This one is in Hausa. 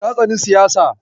Ta tsani siyasa.